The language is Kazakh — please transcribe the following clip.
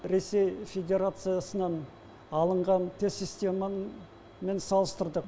ресей федерациясынан алынған тест системамен салыстырдық